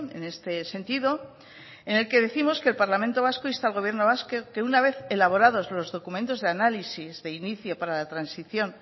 en este sentido en el que décimos que el parlamento vasco insta al gobierno vasco que una vez elaborados los documentos de análisis de inicio para la transición